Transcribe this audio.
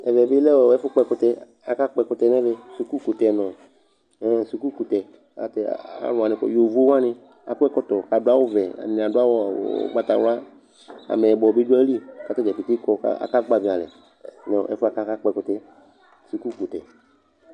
ɛmɛbi lɛ ɛfu kpɔ ɛkutɛ akakpɔ ɛkutɛ nɛ mɛ school kutɛ nu ehein school tɛ aluwanɩ yovowanɩ akɔ ɛkɔtɔ kadu awuvɛ aduawu ugbata wla ameyibɔbɩ du ayilɩ katadzaa keke kɔ kaka kpadi alɛ nu ɛfuɛ kaka kpoɛkutɛ